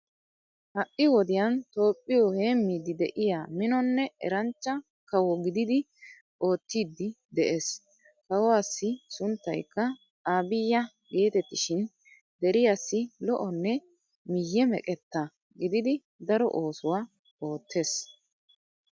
Ha'i wodiyan toophphiyo heemmiiddi de'iyaa minonne eranchcha kawo gididi oottiiddi de'ees. Kawuwaassi sunttaykka abiya geetettishin deriyaassi lo''onne miyye meqetta gididi daro oosuwa oottees.